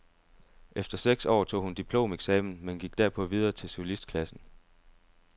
Efter seks år tog hun diplomeksamen, men gik derpå videre til solistklassen.